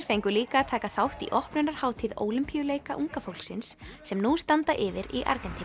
fengu líka að taka þátt á opnunarhátíð Ólympíuleika unga fólksins sem nú standa yfir í Argentínu